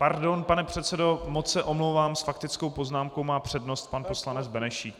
Pardon, pane předsedo, moc se omlouvám - s faktickou poznámkou má přednost pan poslanec Benešík.